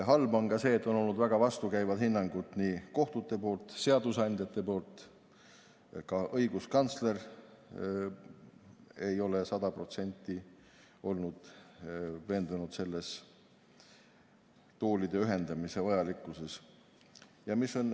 Halb on ka see, et on olnud väga vastukäivad hinnangud kohtute poolt, seadusandjate poolt, ka õiguskantsler ei ole sada protsenti olnud veendunud toolide ühendamise vajalikkuses.